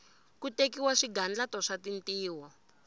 ku tekiwa swigandlato swa tintiho